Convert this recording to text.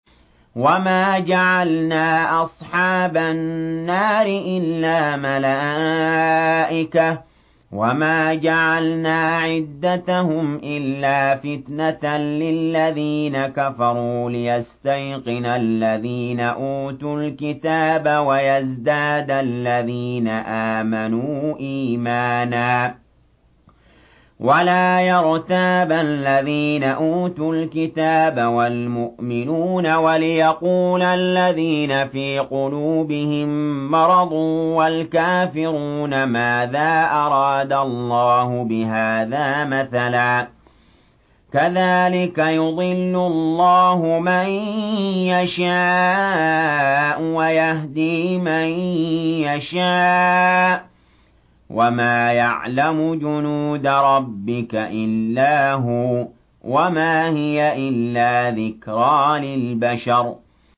وَمَا جَعَلْنَا أَصْحَابَ النَّارِ إِلَّا مَلَائِكَةً ۙ وَمَا جَعَلْنَا عِدَّتَهُمْ إِلَّا فِتْنَةً لِّلَّذِينَ كَفَرُوا لِيَسْتَيْقِنَ الَّذِينَ أُوتُوا الْكِتَابَ وَيَزْدَادَ الَّذِينَ آمَنُوا إِيمَانًا ۙ وَلَا يَرْتَابَ الَّذِينَ أُوتُوا الْكِتَابَ وَالْمُؤْمِنُونَ ۙ وَلِيَقُولَ الَّذِينَ فِي قُلُوبِهِم مَّرَضٌ وَالْكَافِرُونَ مَاذَا أَرَادَ اللَّهُ بِهَٰذَا مَثَلًا ۚ كَذَٰلِكَ يُضِلُّ اللَّهُ مَن يَشَاءُ وَيَهْدِي مَن يَشَاءُ ۚ وَمَا يَعْلَمُ جُنُودَ رَبِّكَ إِلَّا هُوَ ۚ وَمَا هِيَ إِلَّا ذِكْرَىٰ لِلْبَشَرِ